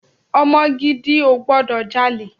Ọmọ gidi ò gbọdọ̀ jalè.